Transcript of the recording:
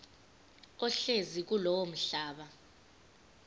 ohlezi kulowo mhlaba